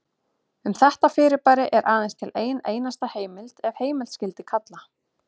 Um þetta fyrirbæri er aðeins til ein einasta heimild ef heimild skyldi kalla.